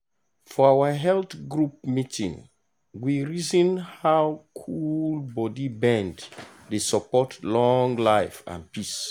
for our health group meeting we reason how cool body bend dey support long-life and peace.